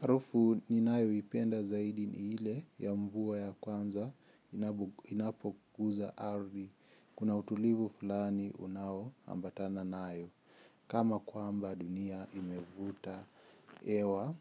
Harufu ninayoipenda zaidi ni ile ya mvua ya kwanza inapokuza ardhi kuna utulivu fulani unaoambatana nayo kama kwamba dunia imevuta hewa